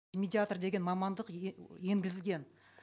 медиатор деген мамандық енгізілген